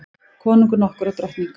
Konungur nokkur og drottning.